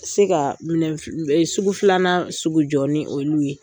Se ka minɛn fi e sugu filanan sugu jɔ ni olu ye.